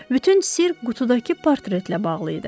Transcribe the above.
Bütün sirr qutudakı portretlə bağlı idi.